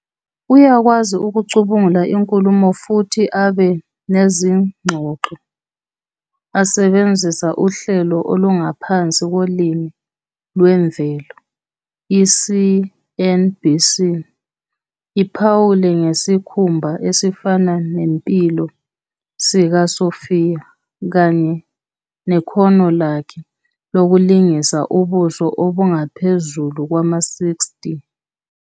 Uyakwazi ukucubungula inkulumo futhi abe nezingxoxo esebenzisa uhlelo olungaphansi kolimi lwemvelo. I-CNBC iphawule ngesikhumba "esifana nempilo" sikaSophia kanye nekhono lakhe lokulingisa ubuso obungaphezulu kwama-60.